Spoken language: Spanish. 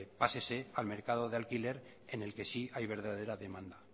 pásese al mercado de alquiler en el que sí hay verdadera demanda